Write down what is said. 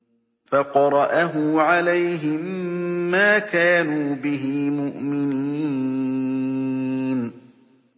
فَقَرَأَهُ عَلَيْهِم مَّا كَانُوا بِهِ مُؤْمِنِينَ